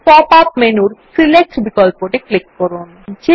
এখন pop up মেনুর select বিকল্পটি ক্লিক করুন